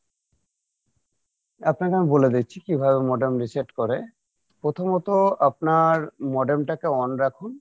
আপনাকে আমি বলে দিচ্ছি কীভাবে modem reset করে প্রথমত আপনার modem টাকে on রাখুন